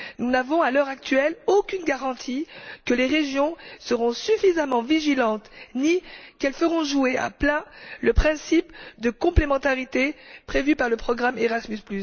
Nous n'avons, à l'heure actuelle, aucune garantie que les régions seront suffisamment vigilantes ni qu'elles feront jouer à plein le principe de complémentarité prévu par le programme Erasmus.